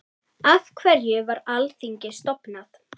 Af hverju var Alþingi stofnað?